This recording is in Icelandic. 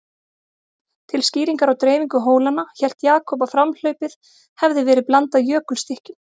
Til skýringar á dreifingu hólanna, hélt Jakob að framhlaupið hefði verið blandað jökulstykkjum.